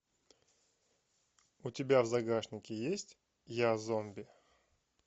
у тебя в загашнике есть я зомби